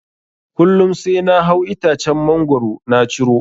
Kullum sai na hau itacen mangoro na ciro.